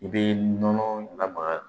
I bɛ nɔnɔ lamaga